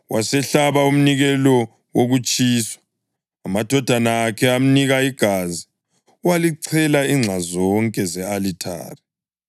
Wasehlaba umnikelo wokutshiswa. Amadodana akhe amnika igazi, walichela inxa zonke ze-alithare.